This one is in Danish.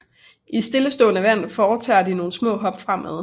I stillestående vand foretager de nogle små hop fremad